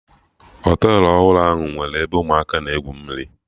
Họtelụ ọhụrụ ahụ nwere ebe ụmụaka na egwu mmiri